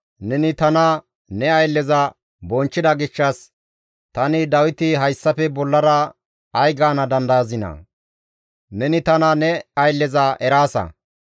Neni tana ne aylleza bonchchida gishshas tani Dawiti hayssafe bollara ay gaana dandayazinaa? Neni tana ne aylleza eraasa.